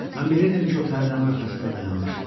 Mən bilirdim ki, o pərdənin arxasında dayanmışdı.